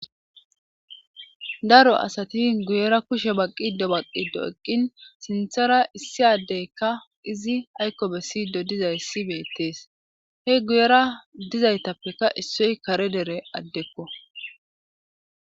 daro asati guyera kushe baqqido baqqido eqqin sinthara issi addeykka izi aykko bessido dizayssi beettees he guyera dizaytappeka issoy kare dere addekko